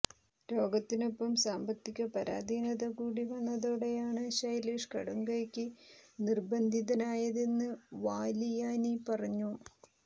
രോഗത്തിനൊപ്പം സാമ്പത്തിക പരാധീനതകൂടി വന്നതോടെയാണ് ശൈലേഷ് കടുംകൈയ്ക്ക് നിർബന്ധിതനായതെന്ന് വാലിയാനി പറഞ്ഞു